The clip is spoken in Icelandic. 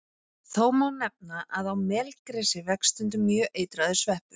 Þó má nefna að á melgresi vex stundum mjög eitraður sveppur.